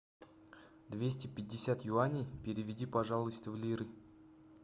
двести пятьдесят юаней переведи пожалуйста в лиры